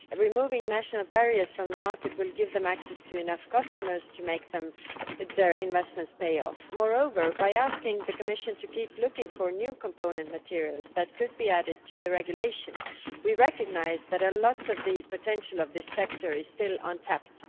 Removing national barriers from the market will give them access to enough customers to make their investments pay off. Moreover, by asking the Commission to keep looking for new component materials that could be added to the regulation, we recognise that a lot of the potential of this sector is still untapped.